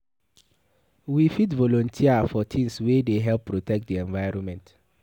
We fit volunteer for things wey dey help protect di environment